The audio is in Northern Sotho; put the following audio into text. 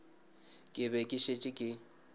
ke be ke šetše ke